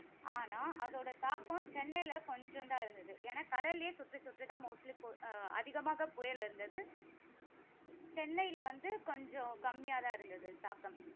ஆனால் அதோட தாக்கம் சென்னையில கொஞ்சம் தான் இருந்தது. ஏன்னா கடலிலேயே சுற்றி சுற்றி தான் mostly பு~ அஹ் அதிகமாக புயல் இருந்தது. சென்னையில வந்து கொஞ்சம் கம்மியாக தான் இருந்தது தாக்கம்.